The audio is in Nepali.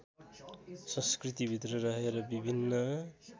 सं‌‌स्कृतीभित्र रहेर विभिन्न